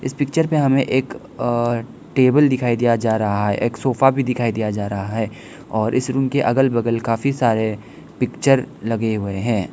इस पिक्चर पे हमें एक अ टेबल दिखाई दिया जा रहा है एक सोफा भी दिखाई दिया जा रहा है और इस रूम के अगल बगल काफी सारे पिक्चर लगे हुए हैं।